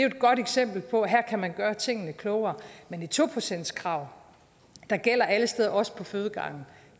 et godt eksempel på at her kan man gøre tingene klogere men et to procentskrav der gælder alle steder også på fødegange